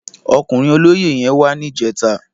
Òkúrin ólóyé yèn wà nijètá